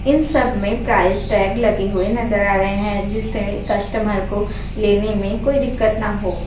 इन सब में price tag लगे हुए नजर आ रहें हैं जिस से कस्टमर को लेने में कोई दिक्कत ना हो।